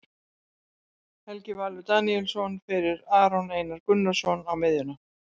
Helgi Valur Daníelsson fyrir Aron Einar Gunnarsson á miðjuna.